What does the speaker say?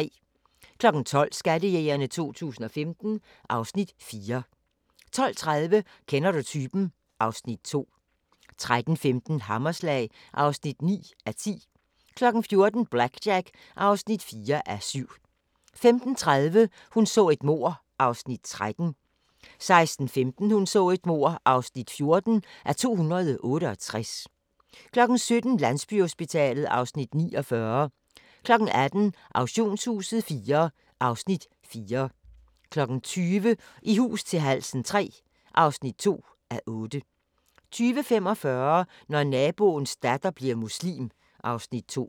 12:00: Skattejægerne 2015 (Afs. 4) 12:30: Kender du typen? (Afs. 2) 13:15: Hammerslag (9:10) 14:00: BlackJack (4:7) 15:30: Hun så et mord (13:268) 16:15: Hun så et mord (14:268) 17:00: Landsbyhospitalet (Afs. 49) 18:00: Auktionshuset IV (Afs. 4) 20:00: I hus til halsen III (2:8) 20:45: Når naboens datter bliver muslim (Afs. 2)